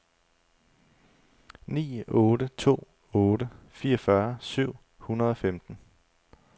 ni otte to otte fireogfyrre syv hundrede og femten